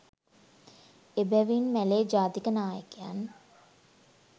එබැවින් මැලේ ජාතික නායකයන්